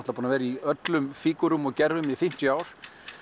búinn að vera í öllum fígúrum og gervum í fimmtíu ár